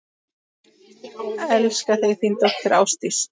Elska þig, þín dóttir, Ásdís.